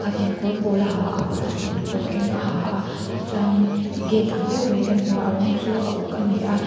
pakhat in kawr pawl a ha a pakhat in kawr eng a ha a tichuan in gate ang deuh kan hmu a a rawng chu a uk a ni a.